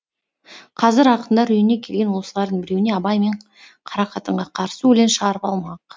қазір ақындар үйіне келген осылардың біреуіне абай мен қарақатынға қарсы өлең шығарып алмақ